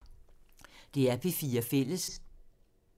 DR P4 Fælles